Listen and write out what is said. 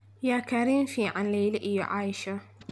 yaa Karin fican Leila iyo aisha